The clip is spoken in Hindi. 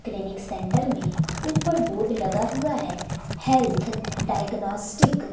क्लिनिक सेंटर में ऊपर बोर्ड लगा हुआ है। Health diagnostics.